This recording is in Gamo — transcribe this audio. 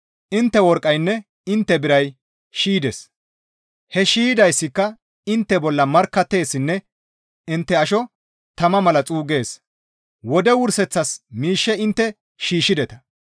Intte worqqaynne intte biray shiydes; he shiydayssika intte bolla markkatteessinne intte asho tama mala xuuggees; wode wurseththas miishshe intte shiishshideta.